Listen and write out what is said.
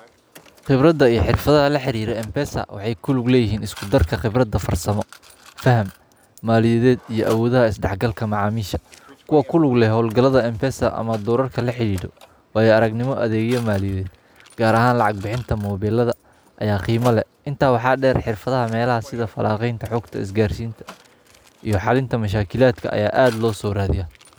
Qibrada iyo xirfadaha laxariro m-pesa waxay kulug leeyihin iskudarka qibrada farsamo faham maaliyaded iyo awoodaha isdaxgalka macamil sha kuwaa kulugleh hoolgalatha m-pesa ama duurarka laxariiro waya aragnimo athegyo maaliyaded gaar ahan lacag bixinta moobeelada intas waxa deer xiirfadaha meelaha sidafalanqeinta xogta isgaarsinta iyo xalinta mushakiladka aya aad loosooraadiyaa.